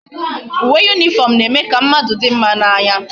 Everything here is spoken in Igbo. Uwe uniform na eme ka mmadu di mma na anya